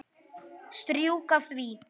Strjúka því.